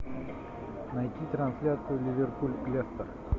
найти трансляцию ливерпуль лестер